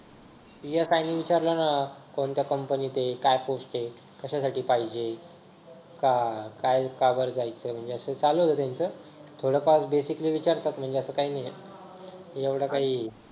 PSI ने विचारलं ना कोणत्या company त आहे? काय post आहे? कशासाठी पाहिजे? का काय का बर जायचंय? म्हणजे असं चालू होत त्यांचं थोडंफार basic विचारतात म्हणजे असं काय नाहीये. एवढं काही